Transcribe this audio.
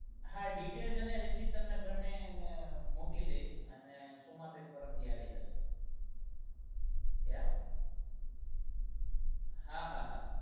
હા details અને receipt મોકલી દઈશ અને સોમાંબેન પરમા દિવસે આવી જશે